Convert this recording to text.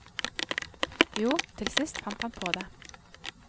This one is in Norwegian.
Jo, til sist fant han på det.